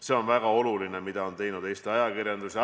See, mida on teinud Eesti ajakirjandus, on väga oluline.